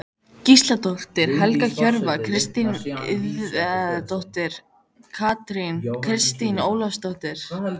Gísladóttir, Helga Hjörvar, Kristín Indriðadóttir, Kristín Ólafsdóttir